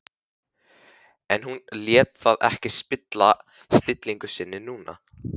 En hún lét það ekki spilla stillingu sinni núna.